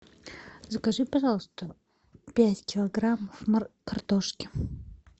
закажи пожалуйста пять килограммов картошки